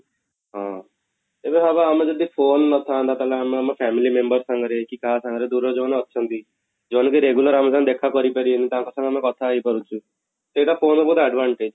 ହଁ, ଏବେ ଭାବ ଆମ ଯଦି phone ନଥାନ୍ତା ତାହେଲେ ଆମେ ଆମ family member ସାଙ୍ଗରେ କି କାହା ସାଙ୍ଗରେ ଦୂର ରେ ଯଉମାନେ ଅଛନ୍ତି ଯଉମାନେ ବି regular ଆମ ସହ ଦେଖା କରି ପାରିବେ ନି ତାଙ୍କ ସାଙ୍ଗେ ଆମେ କଥା ହେଇ ପାରୁଛୁ ସେଟା phone ର ଉପରେ advantage